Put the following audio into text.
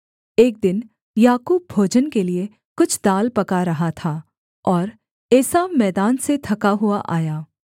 एक दिन याकूब भोजन के लिये कुछ दाल पका रहा था और एसाव मैदान से थका हुआ आया